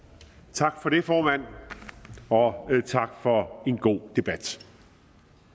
tak for det formand og tak for en god debat